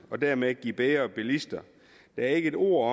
og dermed give bedre bilister der er ikke et ord